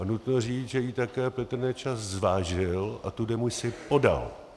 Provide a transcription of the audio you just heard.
A nutno říct, že ji také Petr Nečas zvážil a tu demisi podal.